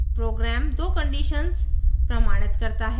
program दो conditions प्रमाणित करता है